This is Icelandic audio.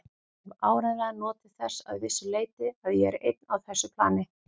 Ég hef áreiðanlega notið þess að vissu leyti að ég er einn á þessu plani.